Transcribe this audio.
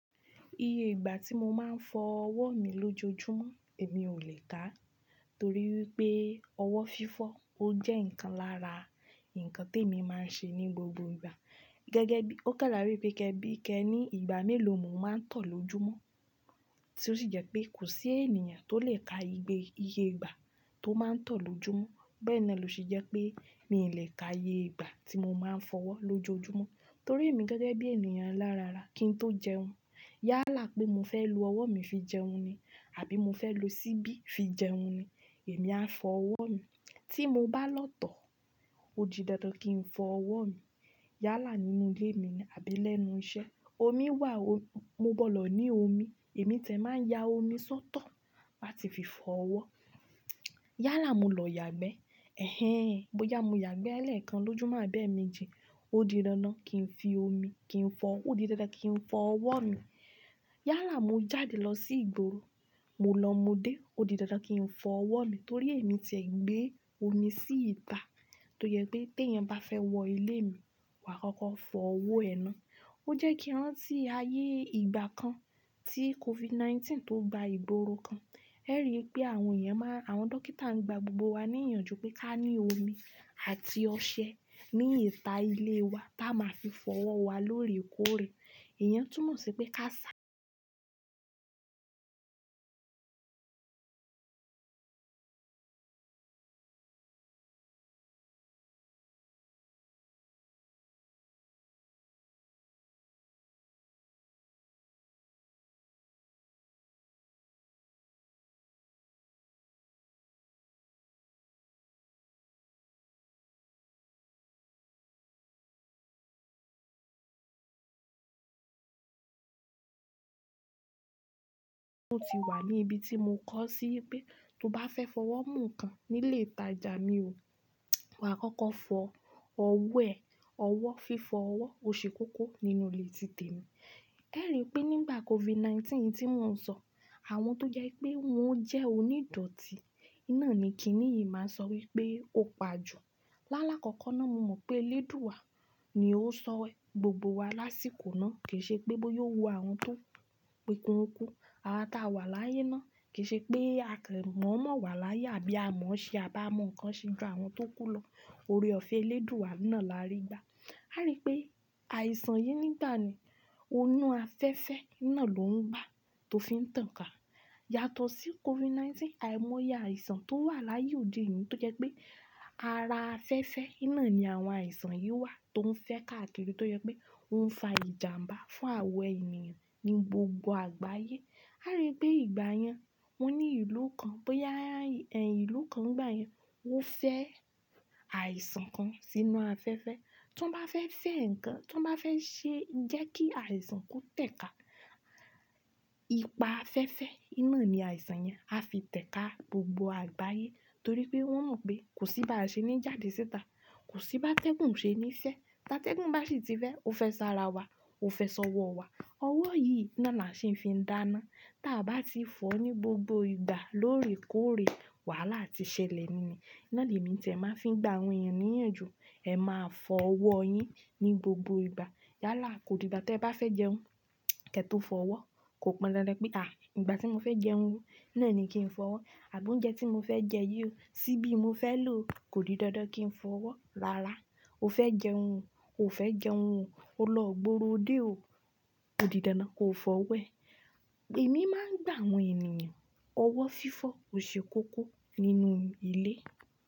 Iye ìgbà tí mo máa ń fọ ọwọ́ mi lójoojúmọ́, èmi ò lè ká, torí pé ọwọ́ fífọ́ ó jẹ́ nǹkan lára nǹkan tí èmi máa ń ṣe ní gbogbo ìgbà. Gẹ́gẹ́ bí-- ó kẹ́ láàárín pé kẹ́ bí kẹ́ ní ìgbà mélòó mo máa ń tọ̀ lójúmọ́, tí ó sì jẹ́ pé kò sí ènìyàn tó lè ka igbe iye ìgbà tó máa ń tọ̀ lójúmọ́. Bẹ́ẹ̀ ni ló ṣe jẹ́ pé mi ò lè ka iye ìgbà tí mo máa ń fọ ọwọ́ lójoojúmọ́. Torí èmi gẹ́gẹ́ bí ènìyàn lára ara kí n tó jẹun, yálà pé mo fẹ́ lu ọwọ́ mi fi jẹun ni àbí mo fẹ́ lo ṣíbí fi jẹun ni, èmi á fọ ọwọ́ mi. Tí mo bá lọ tọ̀, ó di dandan kí n fọ ọwọ́ mi. Yálà nínú ilé mi ni àbí lẹ́nu iṣẹ́, omi wà o, mo bọ̀ lọ ní omi, èmi tẹ̀ máa ya omi sọ́tọ̀ láti fi fọ ọwọ́. Yálà mo lọ yàgbẹ́, ẹ̀hen, bóyá mo yàgbẹ́ lẹ́ẹ̀kan lójoojúmọ́ àbẹ́ mi jẹ, ó di dandan kí n fi omi kí n fọ-- ó di dandan kí n fọ ọwọ́ mi. Yálà mo jáde lọ sí ìgboro, mo lọ mo dé, ó di dandan kí n fọ ọwọ́ mi torí èmi tẹ̀ gbé omi sí ìta tó jẹ́ pé tí ẹ̀yẹn bá fẹ́ wọ ilé mi, wà á kọ́kọ́ fọ owó ẹ ná. Ó jẹ́ kí wọn sì ayé ìgbà kan tí COVID-19 tó gba ìgboro kan. Ẹ rí i pé àwọn èèyàn máa-- àwọn dókítà ń gba gbogbo wa ní ìyànjú pé ká ní omi àti ọṣẹ ní ìta ilé wa tá máa fi fọ ọwọ́ wa lóòrèkóòrè. Ẹ̀yẹn tún mọ̀ sí pé ká sá- Mo ti wà ní ibi tí mo kọ sí pé tó bá fẹ́ fọ ọwọ́ mú kan nílé ìtajà mi ò, wà á kọ́kọ́ fọ owó ẹ. Ọwọ́ fífọ ọwọ́ ò ṣe kókó nínú ilé títè mi. Ẹ rí i pé nígbà COVID-19 tí mò ń sọ, àwọn tó jẹ́ pé wọ́n jẹ́ onídọ̀tí iná ni kìní yìí máa sọ wípé ó pa jù. Láàlá kọ̀kan náà mo mọ̀ pé eléèdúúa wa ni ó sọ ẹ gbogbo wa lásìkò náà. Kì í ṣe pé bóyá ó wu àwọn tó kú kú. Awa táa wà láyé náà kì í ṣe pé a kẹ́ mọ̀ọ́mọ̀ wà láyé àbí a mọ̀ ọ́ ṣe à bá mọ̀ nǹkan ṣe ju àwọn tó kú lọ. Ore ọ̀fẹ́ eléèdúúaa wa iná làárí gba. A rí i pé àìsàn yìí nígbà náà ni, inú afẹ́fẹ́ iná lò ń bá tó fi ń tàn ká. Yàtọ̀ sí COVID-19, àìmọ́yá àìsàn tó wà láyé òde yìí tó jẹ́ pé ara afẹ́fẹ́ iná ni àwọn àìsàn yìí wà tó ń fẹ́ kákiri tó jẹ́ pé ó ń fa ìjàǹbá fún àwọn ènìyàn ní gbogbo àgbáyé. A rí i pé ìgbà yẹn wọ́n ní ìlú kan, bóyá ẹ̀yin ìlú kan nígbà yẹn, wọ́n fẹ́ àìsàn kan sínú afẹ́fẹ́. Tó bá fẹ́ fe nǹkan, tó bá fẹ́ ṣe jẹ́ kí àìsàn kó tẹ̀ ká, ipa afẹ́fẹ́ iná ni àìsàn yẹn á fi tẹ̀ ká gbogbo àgbáyé torí pé wọ́n mọ̀ pé kò sí bá ṣe ní jáde síta. Kò sí bá tẹ́gùn ṣe ní iṣẹ́. Táa tẹ́gùn bá sì ti fẹ́, ó fẹ́ sá ara wa, ó fẹ́ sọ ọwọ́ wa. Ọwọ́ yìí iná ni a sì ń fi ń dáná. Táa bá ti fọ ní gbogbo ìgbà lóòrèkóòrè, wàhálà ti ṣẹlẹ̀ nì. Iná ni èmi tẹ̀ máa fi ń gba àwọn èèyàn ní ìyànjú. Ẹ máa fọ ọwọ́ yín ní gbogbo ìgbà. Yálà kò di ìgbà tí ẹ bá fẹ́ jẹun, kẹ́tọ́ fọ ọwọ́. Kò pọn dandan pé, àì ìgbà tí mo fẹ́ jẹun, iná ni kí n fọ ọwọ́. Àbí oúnjẹ tí mo fẹ́ jẹ yó, ṣíbí mo fẹ́ lò kò di dandan kí n fọ ọwọ́. Rárá, o fẹ́ jẹun, o ò fẹ́ jẹun o, o lọ gboro dé o, kò di dandan kó fọ ọwọ́ ẹ. Èmi máa ń gba àwọn ènìyàn, ọwọ́ fífọ ò ṣe kókó nínú ilé.